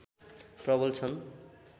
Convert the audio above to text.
प्रबल छन्